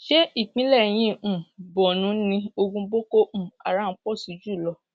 ṣe ìpínlẹ yìí um borno ni ogún boko um haram pọ sí jù lọ